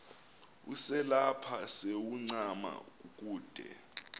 uselapha sewuncama kukude